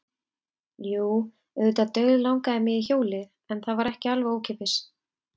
Jú, auðvitað dauðlangaði mig í hjólið en það var ekki alveg ókeypis.